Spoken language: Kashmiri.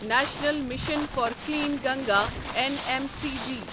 national mission for clean Ganga N M C G